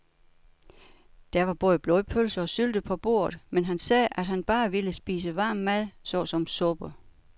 Der var både blodpølse og sylte på bordet, men han sagde, at han bare ville spise varm mad såsom suppe.